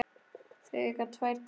Þau eiga tvær dætur.